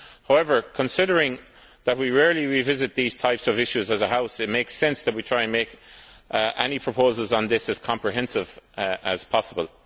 However, considering that we rarely revisit these types of issues as a House, it makes sense that we try and make any proposals on this as comprehensive as possible.